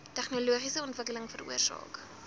tegnologiese ontwikkeling veroorsaak